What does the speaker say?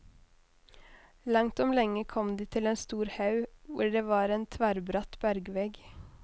Langt om lenge kom de til en stor haug, hvor det var en tverrbratt bergvegg.